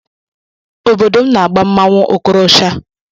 Obodo m na-agba mmọnwụ okorosha